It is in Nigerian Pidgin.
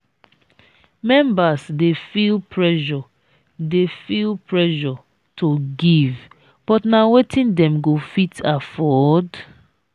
members dey feel pressure dey feel pressure to give but na wetin dem go fit afford?